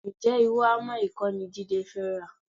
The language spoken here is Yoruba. Ǹjẹ́ irú hámà yìí kọ́ ni Jídé fẹ́ rà?